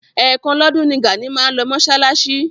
Ẹ̀ kan lọ́dún ni Gàní máa ń lọ mọ́ṣáláṣí.